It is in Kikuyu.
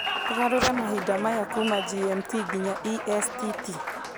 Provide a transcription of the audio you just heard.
ũgarũre mahinda maya kuuma g. m. t. nginya e. s. t. t.